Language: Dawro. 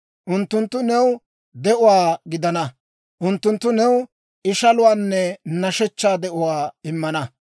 Unttunttu new de'uwaa gidana; unttunttu new ishaluwaanne nashshechchaa de'uwaa immana.